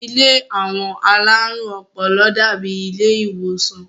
Ilé àwọn alárùn ọpọlọ dàábi ilé ìwòsàn